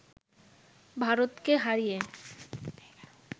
ভারতকে হারিয়ে